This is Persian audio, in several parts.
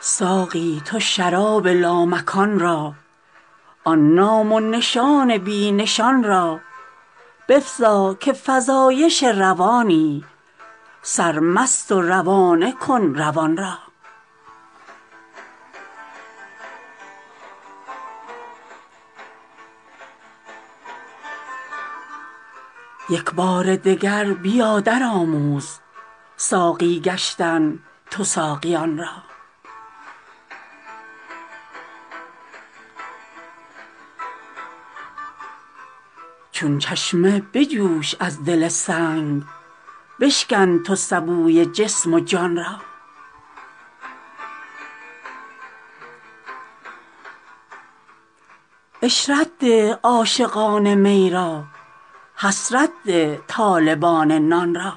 ساقی تو شراب لامکان را آن نام و نشان بی نشان را بفزا که فزایش روانی سرمست و روانه کن روان را یک بار دگر بیا درآموز ساقی گشتن تو ساقیان را چون چشمه بجوش از دل سنگ بشکن تو سبوی جسم و جان را عشرت ده عاشقان می را حسرت ده طالبان نان را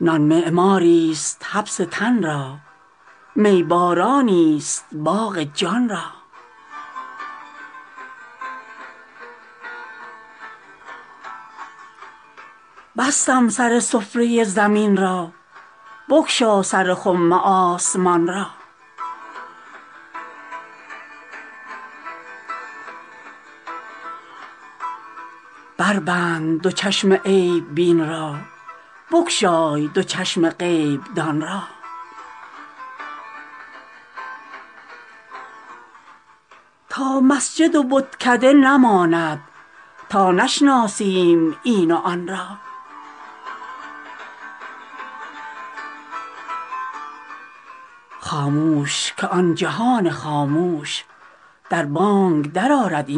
نان معماریست حبس تن را می بارانیست باغ جان را بستم سر سفره زمین را بگشا سر خم آسمان را بربند دو چشم عیب بین را بگشای دو چشم غیب دان را تا مسجد و بتکده نماند تا نشناسیم این و آن را خاموش که آن جهان خاموش در بانگ درآرد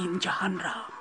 این جهان را